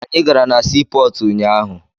Anyị gara na sii pọọtụ unyaahụ.